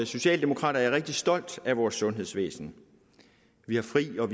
socialdemokrat er jeg rigtig stolt af vores sundhedsvæsen vi har fri og